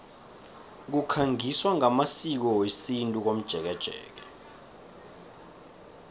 kukhangiswa ngamasiko wesintu komjekejeke